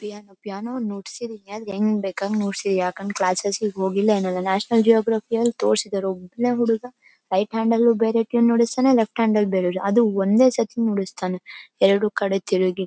piano piano ನುಡ್ಸಿದ್ದೀನಿ ಹೆಂಗ್ ಬೇಕಾದ್ರ ನುಡ್ಸಿ ಯಾಕಂದ್ರೇ ಕ್ಲಾಸ್ಸೆಸ್ಗೆ ಹೋಗಿಲ್ಲ ನಾನು ನ್ಯಾಷನಲ್ ಜಿಯಾಗ್ರಫಿ ಅಲ್ಲಿ ತೋರಿಸಿದರೆ ಒಬ್ನೇ ಹುಡ್ಗ ರೈಟ್ ಹ್ಯಾಂಡಲ್ ಬೇರೆ ಟ್ಯೂನ್ ನುಡಿಸ್ತಾನೆ ಲೆಫ್ಟ್ ಹ್ಯಾಂಡಲ್ ಬೇರೆ ಟ್ಯೂನ್ ನುಡಿಸ್ತಾನೆ ಅದು ಒಂದೇ ಸಲ ನುಡಿಸ್ತಾನೆ ಎರಡು ಕಡೆ ತಿರುಗಿ --